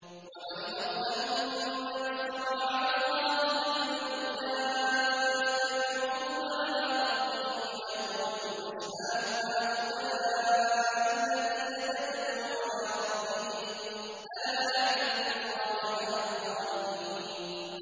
وَمَنْ أَظْلَمُ مِمَّنِ افْتَرَىٰ عَلَى اللَّهِ كَذِبًا ۚ أُولَٰئِكَ يُعْرَضُونَ عَلَىٰ رَبِّهِمْ وَيَقُولُ الْأَشْهَادُ هَٰؤُلَاءِ الَّذِينَ كَذَبُوا عَلَىٰ رَبِّهِمْ ۚ أَلَا لَعْنَةُ اللَّهِ عَلَى الظَّالِمِينَ